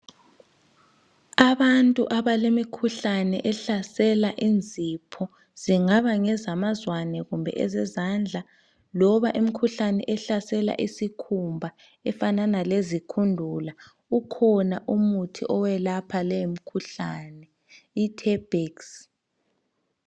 Abantu abalemikhuhlane ehlasela inzipho, kungaba ngezamazwane kumbe ezezandla loba imikhuhlane ehlasela isikhumba efana lezikhundula. Ukhona umuthi oyelapha le mikhuhlane iterbex.